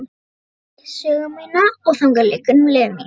Brekkubæ sögu mína og þangað liggur nú leið mín.